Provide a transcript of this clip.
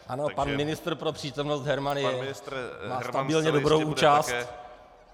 Ano, pan ministr pro přítomnost Herman má stabilně dobrou účast...